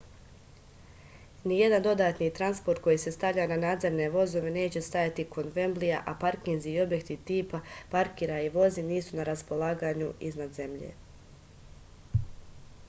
nijedan dodatni transport koji se stavlja na nadzemne vozove neće stajati kod vemblija a parkinzi i objekti tipa parkiraj i vozi nisu na raspolaganju iznad zemlje